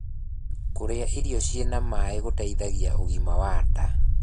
Kurĩa irio ciĩna maĩ gũteithagia ũgima wa ndaa